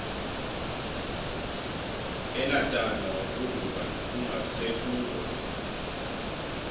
enatala wagoduka kungasekuko